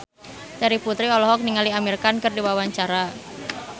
Terry Putri olohok ningali Amir Khan keur diwawancara